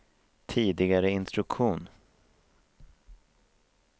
tidigare instruktion